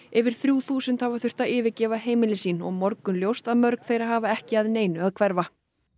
yfir þrjú þúsund hafa þurft að yfirgefa heimili sín og morgunljóst að mörg þeirra hafa ekki að neinu að hverfa